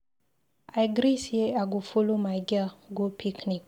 I gree say I go follow my girl go picnic